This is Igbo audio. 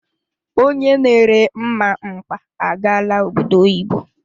Onye na ere mmamkpa agaala obodo oyibo.